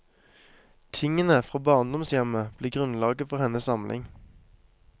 Tingene fra barndomshjemmet ble grunnlaget for hennes samling.